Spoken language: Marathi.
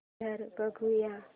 ट्रेलर बघूया